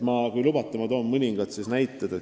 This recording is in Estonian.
Kui lubate, ma toon mõningad näited.